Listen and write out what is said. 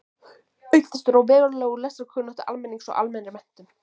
Auk þess dró verulega úr lestrarkunnáttu almennings og almennri menntun.